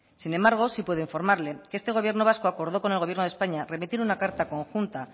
sin embargo sí puedo informarle que este gobierno vasco acordó con el gobierno de españa remitir una carta conjunta